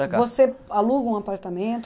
você aluga um apartamento?